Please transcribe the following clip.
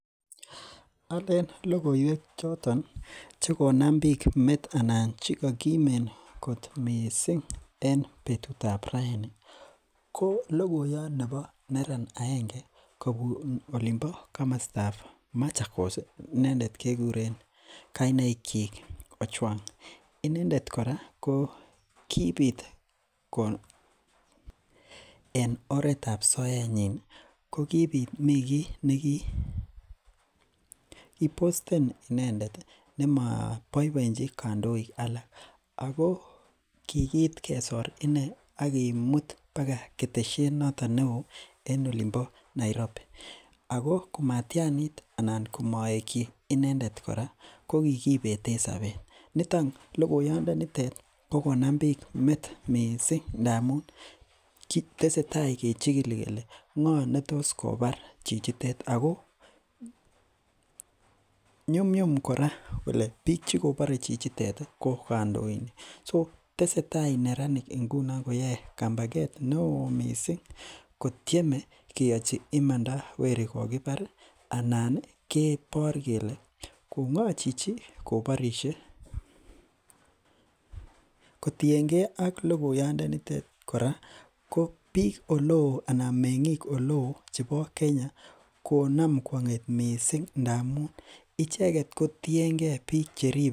Alen logoiwek choton chekom bik metoek en anan chekakimin kot missing en betutap raeni ko logoyan nebo neran aenge kobun olimbo kamostab machakos ih koinendet kekuren Ojwang. Inendet kora ko kibit ko en oretab soetnyin kokibit mi ki nekibosten inendet nema boeboenchi kandoik alak ako, kikiit kesor ine akimuut baka ketesyet noton neoo en olimbo Nairobi, Ako komatianit anan komaekyi inendet kora kokikibeten sabet, logoyandet nitet kokonam bik met missing ndamuun tesetai kechikili kele ngo , netos kobar chichitet Ako nyumnyum kora bik chekobare chichitet ih ko kandoik. so tesetai neranik ingunon koyae kampaket neoo missing kotieme keachi imanda weri kokibar anan ih kibor ng'ochichi kobarisie. Kotienge ak logoyaatndet nitet kora ko bik oleo anan me'ngik oleoo chebo Kenya konam kwang'et missing ngamuun icheket kotienge bik cheribe.